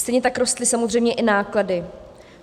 Stejně tak rostly samozřejmě i náklady.